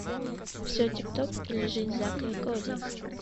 все тип топ или жизнь зака и коди